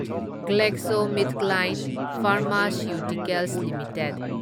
GlaxoSmithKline pharmaceuticals limited